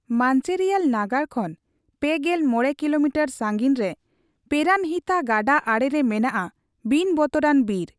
ᱢᱟᱱᱪᱮᱨᱤᱭᱟᱞ ᱱᱟᱜᱟᱨ ᱠᱷᱚᱱ ᱯᱮᱜᱮᱞ ᱢᱚᱲᱮ ᱠᱤᱞᱳᱢᱤᱴᱟᱨ ᱥᱟᱹᱜᱤᱧ ᱨᱮ ᱯᱮᱨᱟᱱᱦᱤᱛᱟ ᱜᱟᱰᱟ ᱟᱲᱮ ᱨᱮ ᱢᱮᱱᱟᱜᱼᱟ ᱵᱤᱱ ᱵᱚᱛᱚᱨᱟᱱ ᱵᱤᱨ ᱾